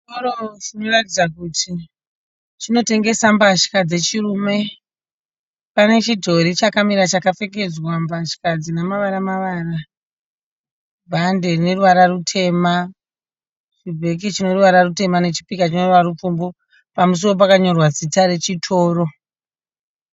Chitoro chinoratidza kuti chinotengesa mbatya dzechirume. Pane chidhori chakamira chakapfekedzwa mbatya dzine mavara mavara. Bhande rine ruvara rutema. Chibheke chineruvara rutema nechipika chineruvara rupfumvu. Pamusuwo pakanyorwa zita rechitoro.